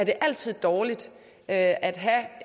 altid er dårligt at at have